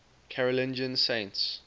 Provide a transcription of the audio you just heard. carolingian saints